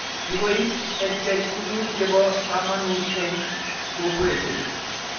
Kikoip EdTech tuguk chepo kamanut eng' kokwoshek